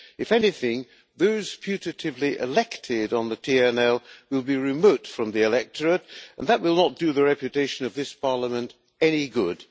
If anything, those putatively elected on the TNL will be remote from the electorate, and that will not do the reputation of this Parliament any good.